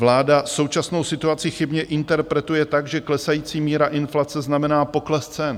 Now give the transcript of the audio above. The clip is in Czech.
Vláda současnou situaci chybně interpretuje tak, že klesající míra inflace znamená pokles cen.